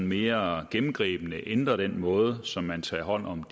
mere gennemgribende ændrer den måde som man tager hånd om